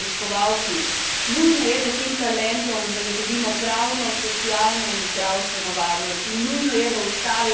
Nujno je, da tem talentom zagotovimo pravno, socialno in zdravstveno varnost in nujno je, da ustavimo izkoriščanje.